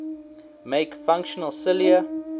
make functional cilia